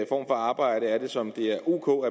for arbejde er det som det er ok